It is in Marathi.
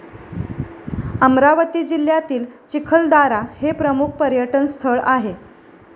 अमरावती जिल्ह्यातील चिखलदारा हे प्रमुख पर्यटनस्थळ आहे.